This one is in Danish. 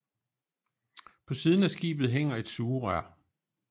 På siden af skibet hænger et sugerør